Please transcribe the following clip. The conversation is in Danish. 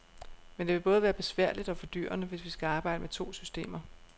Men det vil både være besværligt og fordyrende, hvis vi skal arbejde med to systemer.